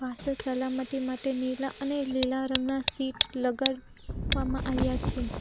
પાછળ સલામતી માટે નીલા અને લીલા રંગના સીટ લગાડવામાં આવ્યા છે.